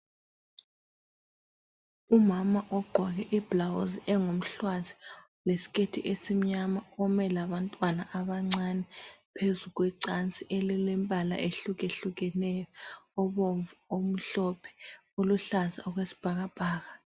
Umama ogqoke iblawuzi engumhlwazi lesiketi esimnyama ume labantwana abancane phezu kwecansi elilembala ehlukahlukeneyo obomvu omhlophe, oluhlaza okwesibhakabhaka.